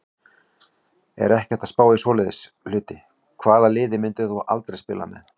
Er ekkert að spá í svoleiðis hluti Hvaða liði myndir þú aldrei spila með?